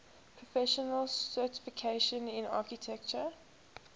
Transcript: professional certification in architecture